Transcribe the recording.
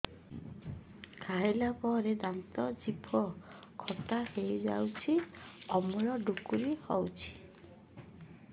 ଖାଇଲା ପରେ ଦାନ୍ତ ଜିଭ ଖଟା ହେଇଯାଉଛି ଅମ୍ଳ ଡ଼ୁକରି ହଉଛି